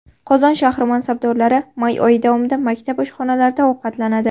Qozon shahri mansabdorlari may oyi davomida maktab oshxonalarida ovqatlanadi.